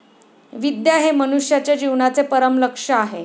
विद्या हे मनुष्याच्या जीवनाचे परमलक्ष्य आहे.